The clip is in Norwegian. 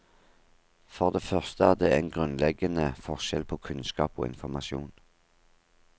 For det første er det en grunnleggende forskjell på kunnskap og informasjon.